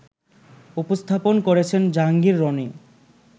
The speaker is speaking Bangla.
উপস্থাপন করেছেন জাহাঙ্গীর রনি